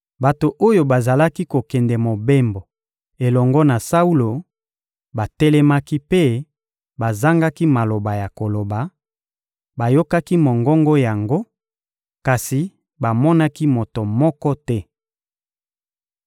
Bato oyo bazalaki kokende mobembo elongo na Saulo batelemaki mpe bazangaki maloba ya koloba; bayokaki mongongo yango, kasi bamonaki moto moko te.